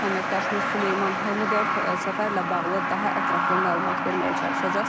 Əməkdaşımız Süleyman Həmidov səfərlə bağlı daha ətraflı məlumat verməyə çalışacaq.